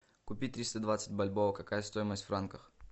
купить триста двадцать бальбоа какая стоимость в франках